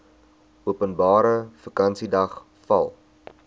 openbare vakansiedag val